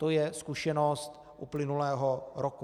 To je zkušenost uplynulého roku.